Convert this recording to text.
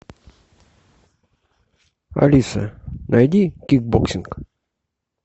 алиса найди кикбоксинг